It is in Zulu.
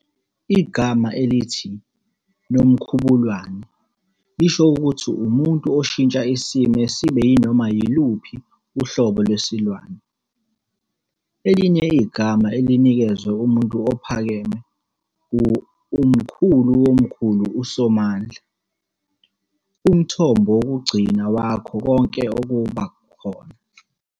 Igama elithi "nomkhubulwane" lisho ukuthi umuntu oshintsha isimo sibe yinoma yiluphi uhlobo lwesilwane. Elinye igama elinikezwe umuntu ophakeme u-Umkhuluwomkhulu uSomandla, umthombo wokugcina wakho konke ukuba khona.